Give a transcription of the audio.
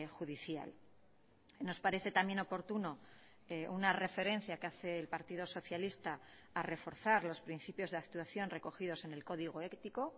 judicial nos parece también oportuno una referencia que hace el partido socialista a reforzar los principios de actuación recogidos en el código ético